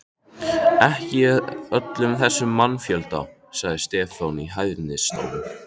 Ekki í öllum þessum mannfjölda, sagði Stefán í hæðnistón.